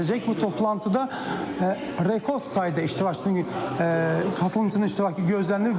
bu toplantıda rekord sayda iştirakçının qatılımçısının iştirakı gözlənilir.